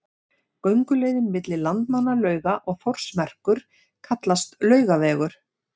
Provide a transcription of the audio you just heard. Gönguleiðin milli Landmannalauga og Þórsmerkur kallast Laugavegur.